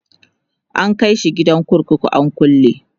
an kaishi gidan kurkuku an kulle